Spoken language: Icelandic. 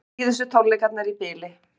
Síðustu tónleikarnir í bili